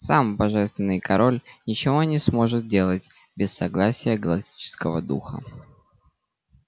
сам божественный король ничего не сможет делать без согласия галактического духа